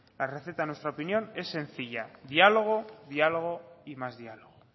la receta en nuestra opinión es sencilla diálogo diálogo y más diálogo